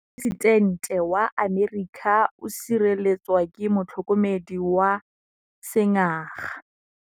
Poresitêntê wa Amerika o sireletswa ke motlhokomedi wa sengaga.